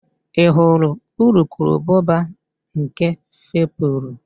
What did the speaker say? Ị hụrụ urukurubụba nke fepụrụ?